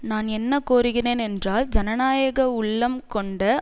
நான் என்ன கோருகிறேன் என்றால் ஜனநாயக உள்ளம் கொண்ட